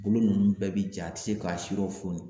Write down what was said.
Bolo ninnu bɛɛ bi ja a tɛ se k'a si lɔ foni.